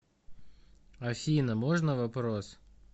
афина можно вопрос